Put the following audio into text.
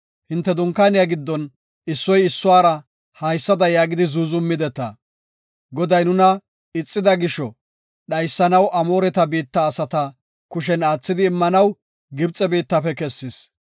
Hinte dunkaaniya giddon issoy issuwara haysada yaagidi zuuzumideta. “Goday nuna ixida gisho, dhaysanaw Amoore biitta asata kushen aathidi immanaw Gibxe biittafe kessis.